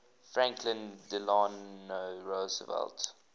franklin delano roosevelt